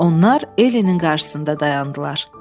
Onlar Ellenin qarşısında dayandılar.